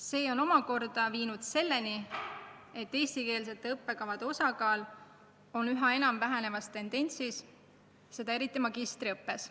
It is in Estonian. See on viinud selleni, et eestikeelsete õppekavade osakaal on üha enam vähenemas, eriti magistriõppes.